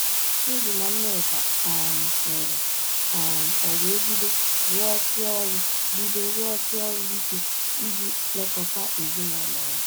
Chidi na Nneka um lụrụ, um o wee bido rụọsi ọrụ bido rụọsi ọrụ ike iji lekọta ezinụlọ ya.